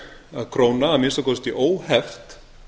að króna að minnsta kosti óheft